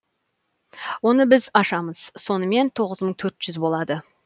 оны біз ашамыз сонымен тоғыз мың төрт жүз болады